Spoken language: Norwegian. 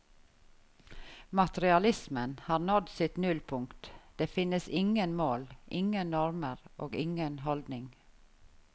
Materialismen har nådd sitt nullpunkt, det finnes ingen mål, ingen normer og ingen holdning.